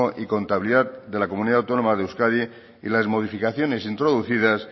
y contabilidad de la comunidad autónoma de euskadi y las modificaciones introducidas